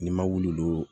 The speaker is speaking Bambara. Ni ma wuli